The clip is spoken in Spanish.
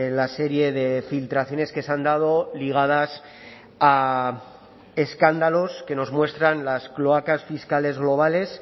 la serie de filtraciones que se han dado ligadas a escándalos que nos muestran las cloacas fiscales globales